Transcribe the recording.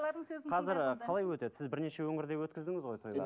қазір қалай өтеді сіз бірнеше өңірде өткіздіңіз ғой тойлар